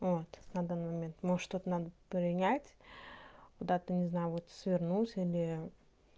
вот на данный момент может что то надо принять куда-то не знаю вот свернуть или